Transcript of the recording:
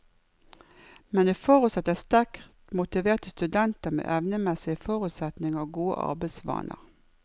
Men det forutsetter sterkt motiverte studenter med evnemessige forutsetninger og gode arbeidsvaner.